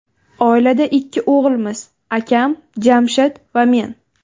Oilada ikki o‘g‘ilmiz: akam Jamshid va men.